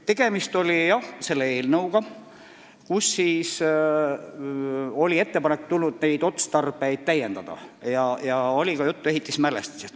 " Tegemist oli jah selle eelnõuga, kus oli ettepanek neid otstarbeid täiendada ja oli ka juttu ehitismälestistest.